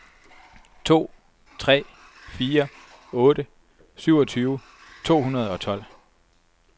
to tre fire otte syvogtyve to hundrede og tolv